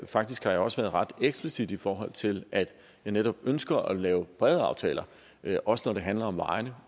faktisk har jeg også været ret eksplicit i forhold til at jeg netop ønsker at lave brede aftaler også når det handler om vejene